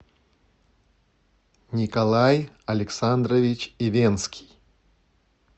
николай александрович ивенский